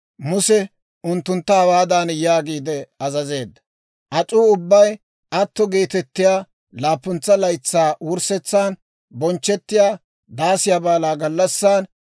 Muse unttuntta hawaadan yaagiide azazeedda; «Ac'uu ubbay atto geetettiyaa laappuntsa laytsaa wurssetsan, bonchchettiyaa Daasiyaa Baalaa gallassan,